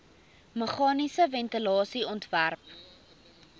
meganiese ventilasie ontwerp